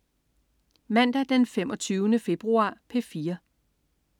Mandag den 25. februar - P4: